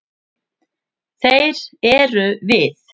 Þeir eru við.